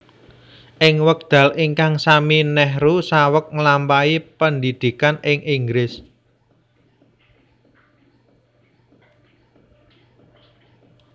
Ing wekdal ingkang sami Nehru saweg nglampahi pendhidhikan ing Inggris